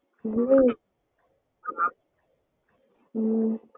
இதுவே ஹம்